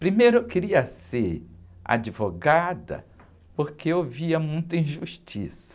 Primeiro eu queria ser advogada porque eu via muita injustiça.